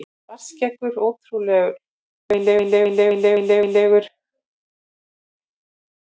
Svartskeggur ótrúlega illyrmislegur á svipinn.